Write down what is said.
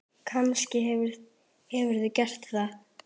Kannske hefurðu gert það.